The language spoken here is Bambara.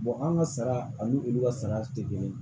anw ka saga ani olu ka sagaw tɛ kelen ye